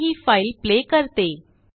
मी हिफाइल प्ले करते